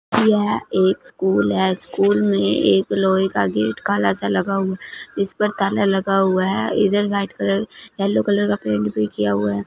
यह एक स्कूल है स्कूल में एक लोहे का गेट काला सा लगा हुआ इस पर ताला लगा हुआ है इधर व्हाइट कलर येलो कलर का पेंट भी किया हुआ है।